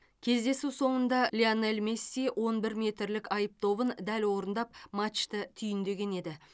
кездесу соңында лионель месси он бір метрлік айып добын дәл орындап матчты түйіндеген еді